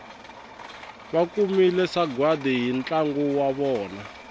vakumile sagwadi hi ntlangu wa vona